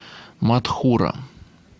матхура